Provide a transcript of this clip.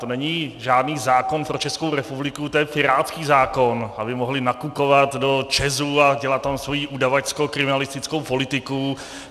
To není žádný zákon pro Českou republiku, to je pirátský zákon, aby mohli nakukovat do ČEZu a dělat tam svoji udavačsko-kriminalistickou politiku.